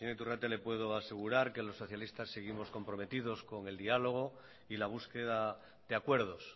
señor iturrate le puedo asegurar que los socialistas seguimos comprometidos con el dialogo y la búsqueda de acuerdos